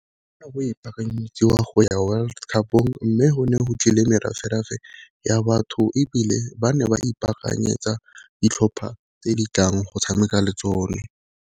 Ka go ipaakanyetsiwa go ya world cup-ong, mme go ne go tlile meraferafe ya batho ebile ba ne ba ipaakanyetsa ditlhopha tse di tlang go tshameka le tsone.